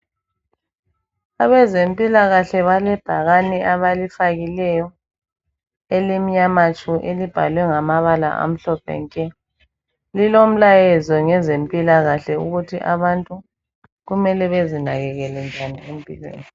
Abezempilakahle balebhakani abalifakileyo elimnyama tshu elibhalwe ngamabala amhlophe nke ,lilomlayezo ngezempilakahle ukuthi abantu kumele bezinakekele njani empilweni.